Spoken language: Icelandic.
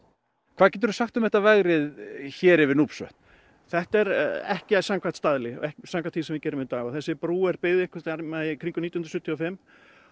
hvað geturðu sagt um þetta vegrið hér yfir þetta er ekki samkvæmt staðli ekki samkvæmt því sem við gerum í dag og þessi brú er byggð einhvers staðar í kringum nítján hundruð sjötíu og fimm